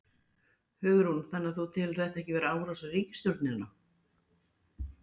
Hugrún: Þannig þú telur þetta ekki vera árás á ríkisstjórnina?